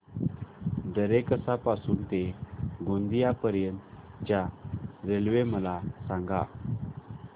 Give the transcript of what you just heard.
दरेकसा पासून ते गोंदिया पर्यंत च्या रेल्वे मला सांगा